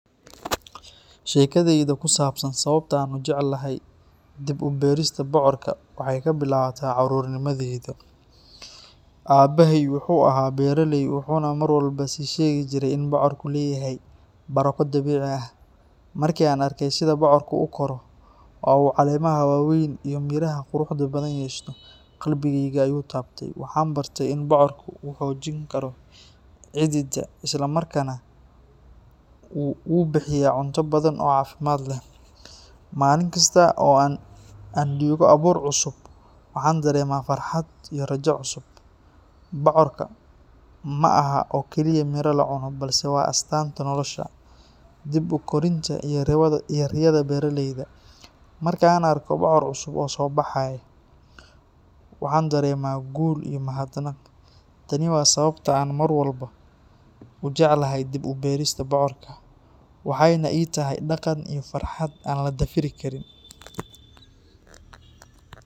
Sheekadeyda ku saabsan sababta aan u jeclahay dib u beerista bocorka waxay ka bilaabataa carruurnimadeyda. Aabbahay wuxuu ahaa beeraley, wuxuuna mar walba ii sheegijiray in bocorku leeyahay barako dabiici ah. Markii aan arkay sida bocorku u koro, oo uu caleemaha waaweyn iyo midhaha quruxda badan yeesho, qalbigayga ayuu taabtay. Waxaan bartay in bocorku uu xoojin karo ciidda, isla markaana uu bixiyaa cunto badan oo caafimaad leh. Maalin kasta oo aan dhigo abuur cusub, waxaan dareemaa farxad iyo rajo cusub. Bocorku ma aha oo kaliya miro la cuno, balse waa astaanta nolosha, dib-u-koritaanka, iyo riyada beeraleyda. Marka aan arko bocor cusub oo soo baxay, waxaan dareemaa guul iyo mahadnaq. Tani waa sababta aan mar walba u jeclahay dib u beerista bocorka, waxayna ii tahay dhaqan iyo farxad aan la dafiri karin.